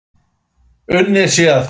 Unnið sé að því.